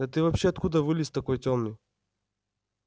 да ты вообще откуда вылез такой тёмный